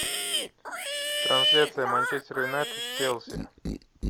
трансляция манчестер юнайтед с челси